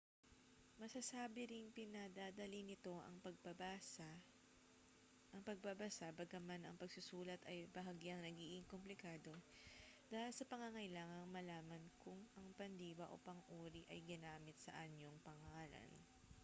masasabi ring pinadadali nito ang pagbabasa bagaman ang pagsusulat ay bahagyang nagiging komplikado dahil sa pangangailangang malaman kung ang pandiwa o pang-uri ay ginamit sa anyong pangngalan